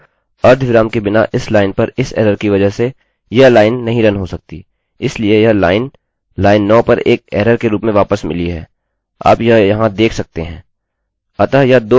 अतः अर्धविराम के बिना इस लाइन पर इस एररerror की वजह से यह लाइन नहीं रन हो सकती इसलिए यह लाइन लाइन 9 पर एक एररerror के रूप में वापस मिली है आप यह यहाँ देख सकते हैं